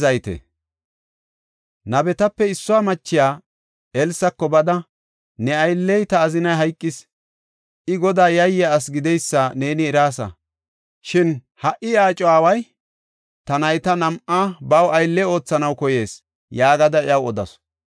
Nabetape issuwa machiya Elsako bada, “Ne aylley, ta azinay hayqis. I Godaa yayiya asi gideysa neeni eraasa. Shin ha77i iya aco aaway ta nayta nam7a baw aylle oothanaw koyees” yaagada iyaw odasu.